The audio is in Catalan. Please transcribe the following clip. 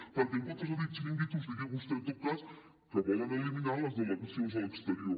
perquè en comptes de dir xiringuitos digui vostè en tot cas que volen eliminar les delegacions de l’exterior